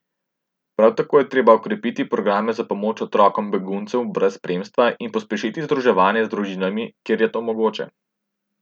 Prav tako je treba okrepiti programe za pomoč otrokom beguncem brez spremstva in pospešitev združevanja z družinami, kjer je to mogoče.